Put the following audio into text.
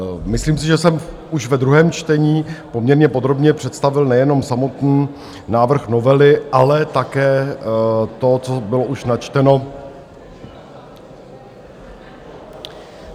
Myslím si, že jsem už ve druhém čtení poměrně podrobně představil nejenom samotný návrh novely, ale také to, co bylo už načteno...